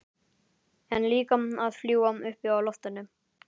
En líka að fljúga uppi í loftinu.